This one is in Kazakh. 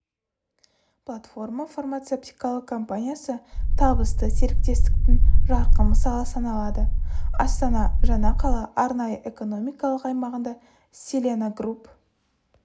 польфарма фармацевтикалық компаниясы табысты серіктестіктің жарқын мысалы саналады астана жаңа қала арнайы экономикалық аймағында селена групп